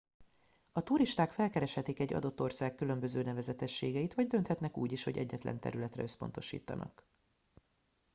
a turisták felkereshetik egy adott ország különböző nevezetességeit vagy dönthetnek úgy is hogy egyetlen területre összpontosítanak